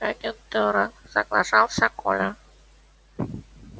агентура соглашался коля